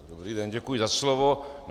Dobrý den, děkuji za slovo.